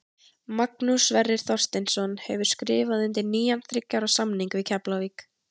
Magnús Sverrir Þorsteinsson hefur skrifað undir nýjan þriggja ára samning við Keflavík.